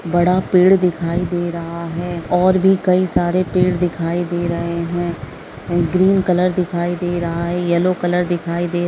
बड़ा पेड़ दिखाई दे रहा है और भी कई सारे पेड़ दिखाई दे रहे है ग्रीन कलर दिखाई दे रहा है येलो कलर दिखाई दे --